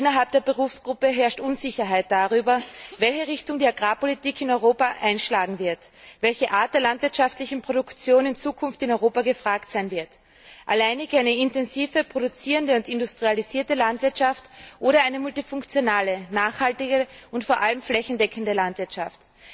Und innerhalb der Berufsgruppe herrscht Unsicherheit darüber, welche Richtung die Agrarpolitik in Europa einschlagen wird, welche Art der landwirtschaftlichen Produktionen in Zukunft in Europa gefragt sein wird alleinig eine intensive, produzierende und industrialisierte Landwirtschaft oder eine multifunktionale, nachhaltige und vor allem flächendeckende Landwirtschaft?